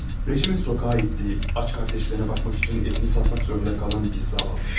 Rejimin sokağa ittiği, aç qardaşlarına baxmaq üçün ətini satmaq zorunda qalan bir zavallı.